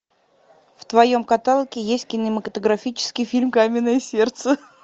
в твоем каталоге есть кинематографический фильм каменное сердце